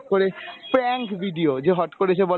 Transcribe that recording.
করে prank video যে হঠ করে এসে বলে